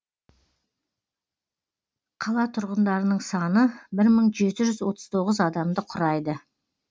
қала тұрғындарының саны бір мың жеті жүз отыз тоғыз адамды құрайды